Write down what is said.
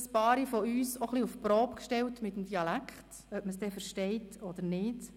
Einige von uns hast du mit deinem Dialekt etwas auf die Probe gestellt, ob man ihn nun verstanden hat oder nicht.